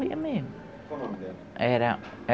Morria mesmo. Qual o nome dela? Era...